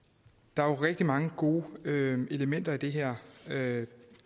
der er jo rigtig mange gode elementer i det her